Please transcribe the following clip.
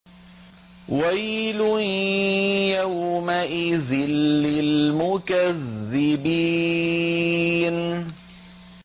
وَيْلٌ يَوْمَئِذٍ لِّلْمُكَذِّبِينَ